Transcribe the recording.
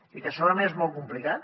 i que segurament és molt complicat